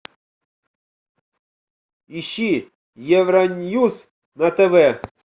ищи евроньюс на тв